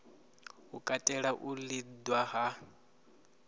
i katela u liṅwa ha